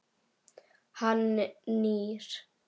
Hann nýr.